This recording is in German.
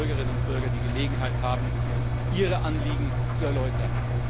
Da werden Bürgerinnen und Bürger die Gelegenheit haben, ihre Anliegen zu erläutern.